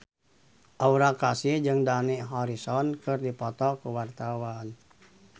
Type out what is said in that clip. Aura Kasih jeung Dani Harrison keur dipoto ku wartawan